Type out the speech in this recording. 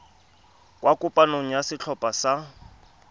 kwa kopanong ya setlhopha sa